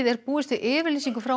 er búist við yfirlýsingu frá